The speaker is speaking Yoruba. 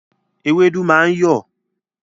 Ewédú máa ń yọ̀